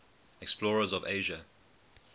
explorers of asia